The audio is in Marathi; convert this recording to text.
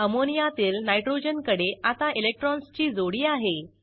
अमोनियातील नायट्रोजनकडे आता इलेक्ट्रॉन्सची जोडी आहे